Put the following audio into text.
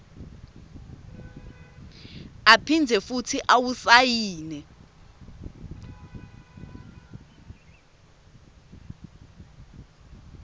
aphindze futsi awusayine